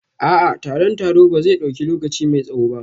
A'a, taron taro ba zai dauki lokaci mai tsawo ba